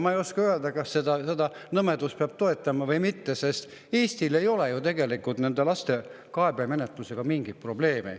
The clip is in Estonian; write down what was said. Ma ei oska öelda, kas seda nõmedust peab toetama või mitte, sest Eestil ei ole ju tegelikult lapsi kaebemenetlusega mingeid probleeme.